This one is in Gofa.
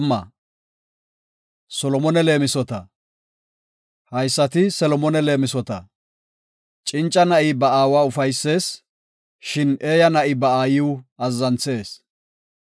Haysati Solomone leemisota. Cinca na7i ba aawa ufaysees; shin eeya na7i ba aayiw azzanthees.